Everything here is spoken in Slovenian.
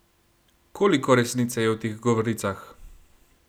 Koliko resnice je v teh govoricah?